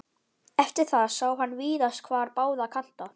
Eftir það sá hann víðast hvar báða kanta.